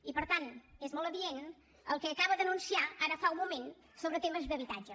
i per tant és molt adient el que acaba d’anunciar ara fa un moment sobre temes d’habitatge